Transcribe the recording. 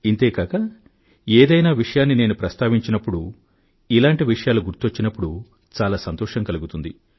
ఇంతేకాక ఏదైనా విషయాన్ని నేను ప్రస్తావించినప్పుడు ఇలాంటి విషయాలు గుర్తుకొచ్చినప్పుడు చాలా సంతోషం కలుగుతుంది